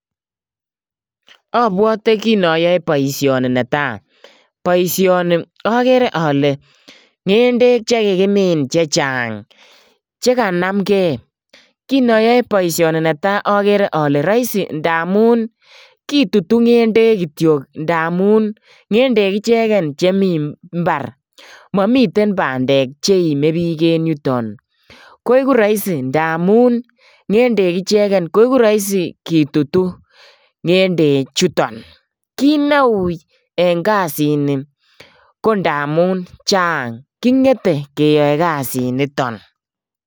Obwote kiin oyoe boishoni netai, boishoni okere olee ngendek chekikimin chechang chekanamnge, kinoyoe boishoni netaa okere olee roisi ndamun kitutu ngendek kitiok ndamun ngendek icheken chemiten mbar, momiiten bandek cheime biik en yuton, koiku roisi ndamun ngendek icheken koiku roisi kitutu ngende chuton, kiit neui en kasini ko ndamun chang, kingete keyoe kasiniton.